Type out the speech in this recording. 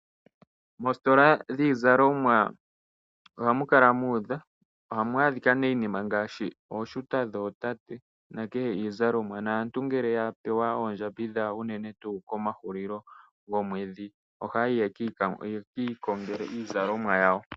Moositola dhiizalomwa ohamu kala muudha nohamu adhika iinima ngaashi ooshuta dhootate uuna aantu ya pewa oondjambi dhawo unene kehulilo lyomwedhi aantu ohaya ka konga iizalomwa yawo.